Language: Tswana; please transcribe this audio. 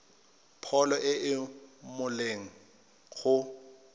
pholo e e molemo go